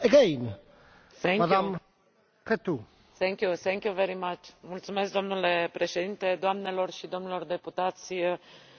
Domnule Președinte, doamnelor și domnilor deputați, vă mulțumesc, este o plăcere pentru mine să fiu în această seară aici.